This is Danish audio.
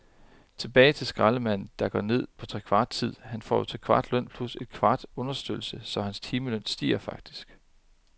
Tilbage til skraldemanden, der går ned på trekvart tid, han får jo trekvart løn plus en kvart understøttelse, så hans timeløn stiger faktisk.